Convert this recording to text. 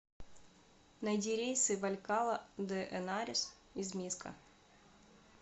найди рейсы в алькала де энарес из миско